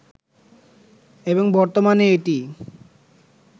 এবং বর্তমানে এটিই